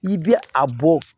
I bɛ a bɔ